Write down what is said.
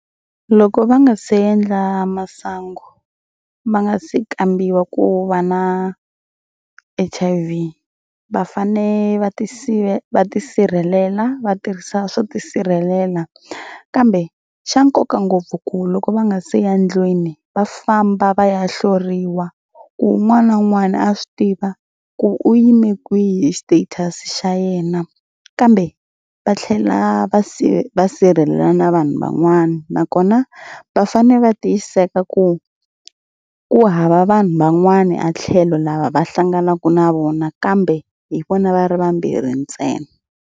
Loko va nga se endla masangu va nga se kambiwa ku va na H_I_V va fanele va va tisirhelela va tirhisa swo tisirhelela kambe xa nkoka ngopfu ku loko va nga se ya ndlwini va famba va ya hloriwa ku un'wana na un'wana a swi tiva ku u yime kwihi status xa yena kambe va tlhela va va sirhelela na vanhu van'wana nakona va fanele va tiyiseka ku ku hava vanhu van'wani a tlhelo lava va hlanganaka na vona kambe hi vona va ri vambirhi ntsena.